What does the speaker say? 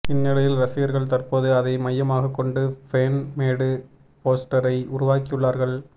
இந்நிலையில் ரசிகர்கள் தற்போது அதை மையமாக கொண்டு ஃபேன் மேடு போஸ்டரை உருவாக்கியுள்ளார்கள்